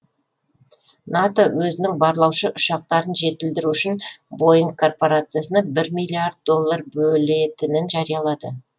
нато өзінің барлаушы ұшақтарын жетілдіру үшін боинг корпорациясына бір миллиард доллар бөлетінін жариялады